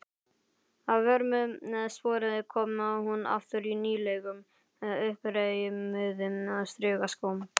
Að vörmu spori kom hún aftur í nýlegum, uppreimuðum strigaskóm.